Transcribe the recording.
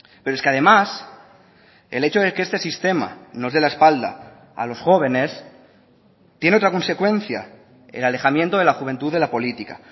pero es que además el hecho de que este sistema nos dé la espalda a los jóvenes tiene otra consecuencia el alejamiento de la juventud de la política